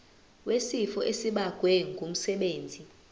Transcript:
wesifo esibagwe ngumsebenzi